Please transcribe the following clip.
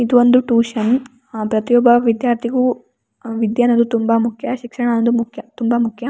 ಇದೊಂದು ಟ್ಯೂಷನ್ ಅ ಪ್ರತಿಯೊಬ್ಬ ವಿಧ್ಯಾರ್ಥಿಗು ವಿದ್ಯೆ ಅನ್ನುದು ತುಂಬಾ ಮುಖ್ಯ ಶಿಕ್ಷಣ ಅನ್ನುದು ಮುಖ್ಯ ತುಂಬಾ ಮುಖ್ಯ.